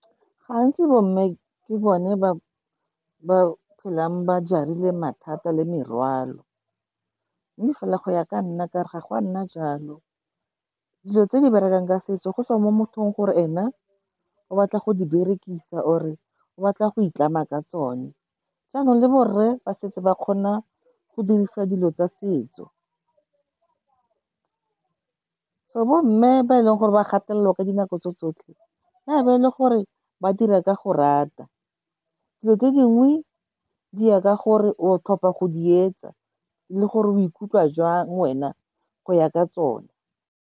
Gantsi bo mme ke bone ba ba phelang ba jarile mathata le morwalo. Mme fela go ya ka nna, ka re ga go a nna jalo. Dilo tse di berekang ka setso go tswa mo mothong, gore ene o batla go di berekisa or-e o batla go itlama ka tsone. Jaanong le borre ba se tse ba kgona go dirisa dilo tsa setso, so bo mme ba e leng gore ba gapelelwa ka dinako tso tsotlhe, ya be e le gore ba dira ka go rata. Dilo tse dingwe di ya ka gore o tlhopha go di etsa le gore o ikutlwa jang wena go ya ka tsone.